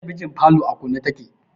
Talabijin falo a kunne take